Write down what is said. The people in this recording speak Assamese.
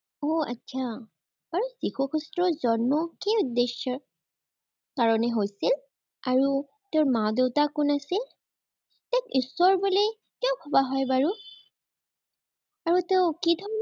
উম আটছা। বাৰু, যীশু খ্ৰীষ্টৰ জন্ম কি উদ্দেশ্যৰ কাৰণে হৈছিল আৰু তেওঁৰ মা-দেউতা কোন আছিল? তেওঁক ঈশ্বৰ বুলি কিয় ভৱা হয় বাৰু? আৰু তেওঁ কি